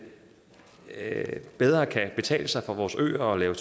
bedre kan betale sig for vores øer at lave